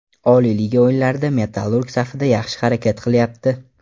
Oliy liga o‘yinlarida ‘Metallurg‘ safida yaxshi harakat qilyapti.